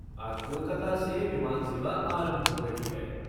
आज कोलकाता से विमान सेवा आरंभ हो रही है।